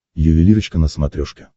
ювелирочка на смотрешке